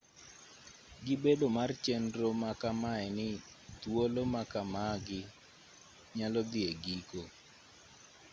gi bedo mar chenro ma kamae ni thuolo ma kamagi nyalo dhi e giko